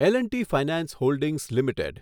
L and T finance holdings limited